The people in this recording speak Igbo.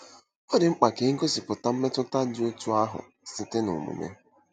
Ọ dị mkpa ka e gosipụta mmetụta dị otú ahụ site n'omume.